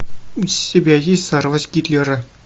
у тебя есть взорвать гитлера